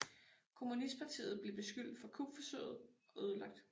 Kommunistpartiet blev beskyldt for kupforsøget og ødelagt